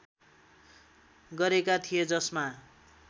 गरेका थिए जसमा